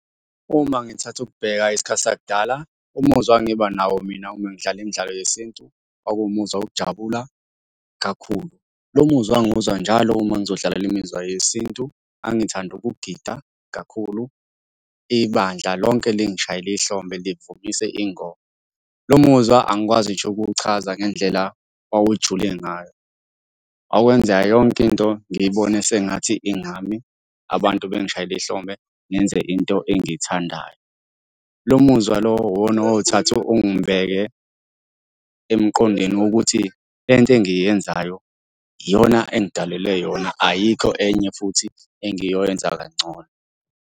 Uma ngithatha ukubheka isikhathi sakudala umuzwa engangiba nawo mina uma ngidlala imidlalo yesintu, kwakuwumuzwa wokujabula kakhulu. Lo muzwa ngangiwuzwa njalo uma ngizodlalela imizwa yesintu, ngangithanda ukugida kakhulu. Ibandla lonke lingishayele ihlombe livumise ingoma. Lo muzwa angikwazi ngisho ukuwuchaza ngendlela owawujule ngayo. Okwenza yonke into ngiyibone sengathi ingami, abantu bangishayele ihlombe, ngenze into engiyithandayo. Lo muzwa lowo uwona owawuthatha ungibeke emqondweni wokuthi le nto engiyenzayo iyona engidalelwe yona, ayikho enye futhi engiyoyenza kangcono.